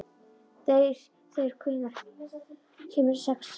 Þeyr, hvenær kemur sexan?